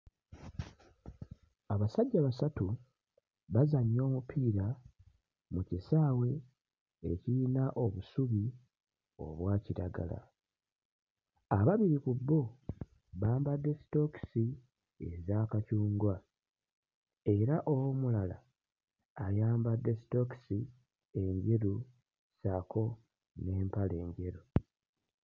Abasajja basatu bazannya omupiira mu kisaawe ekiyina obusubi obwa kiragala. Ababiri ku bo bambadde sitookisi eza kacungwa era omulala ayambadde sitookisi enjeru ssaako n'empale enjeru.